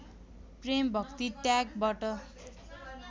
प्रेम भक्ति त्यागबाट